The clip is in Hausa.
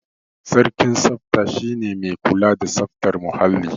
Sarkin tsafta shi ne mai kula da tsaftar muhalli.